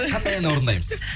қандай ән орындаймыз